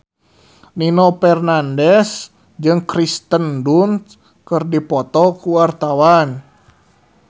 Nino Fernandez jeung Kirsten Dunst keur dipoto ku wartawan